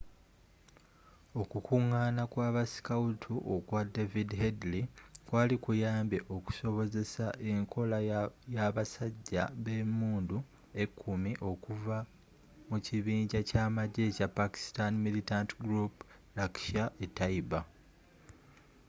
okukunggana kw'abasikawutu okwa david headley kwali kuyambye okusobozesa enkola yabasajja bemunddu ekumi okuva mu kibinja kyamagye ekya pakistani militant group laskhar-e-taiba